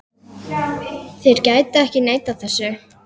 Þeir gætu ekki neitað þessu.